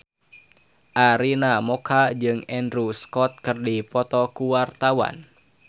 Arina Mocca jeung Andrew Scott keur dipoto ku wartawan